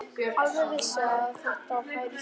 Alveg vissi ég að þetta færi svona!